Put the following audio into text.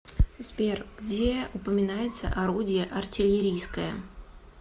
сбер где упоминается орудие артиллерийское